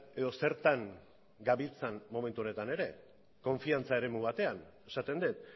edo zertan gabiltzan momentu honetan ere konfiantza eremu batean esaten dut